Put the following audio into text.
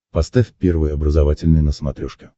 поставь первый образовательный на смотрешке